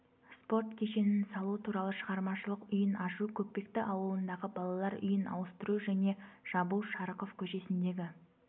спорт кешенін салу туралы шығармашылық үйін ашу көкпекті ауылындағы балалар үйін ауыстыру және жабу шарықов көшесіндегі